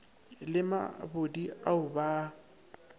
le mabodi ao ba a